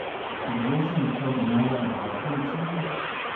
Bi vložili kaj denarja v nepremičnine?